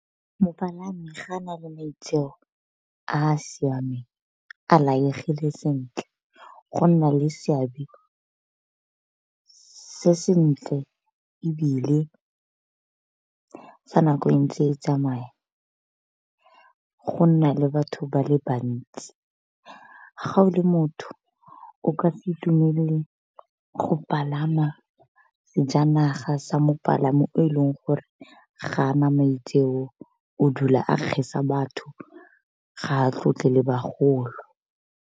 Mopalami ga a nale maitseo a a siameng a laegile sentle go nna le seabe se sentle, ebile fa nako e ntse e tsamaya go nna le batho ba le bantsi. Ga o le motho o ka se itumelele go palama sejanaga sa mopalami yo o e leng gore ga a na maitseo o dula a kgesa batho ga a tlotle le bagolo.